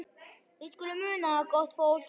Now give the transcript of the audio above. Þið skuluð muna það, gott fólk,